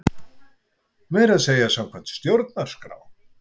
Meira að segja samkvæmt stjórnarskrá!